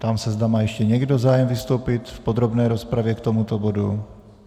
Ptám se, zda má ještě někdo zájem vystoupit v podrobné rozpravě k tomuto bodu.